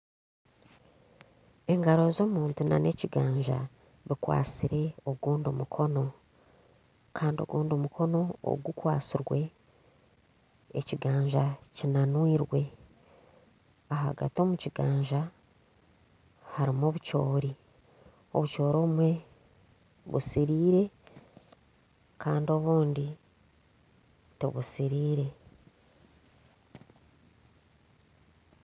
Engaro z'omuntu na n'ekiganja bikwasire ogundi mukono Kandi ogundi mukono ogu kwasirwe, ekiganja kinanwirwe. Ahagati omu kiganja harimu obucoori. Obucoori obumwe busiriire Kandi obundi tibusiriire.